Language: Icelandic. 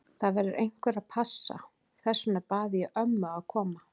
Það verður einhver að passa, þess vegna bað ég ömmu að koma.